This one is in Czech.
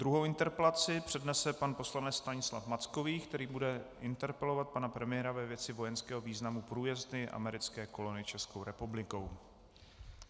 Druhou interpelaci přednese pan poslanec Stanislav Mackovík, který bude interpelovat pana premiéra ve věci vojenského významu průjezdu americké kolony Českou republikou.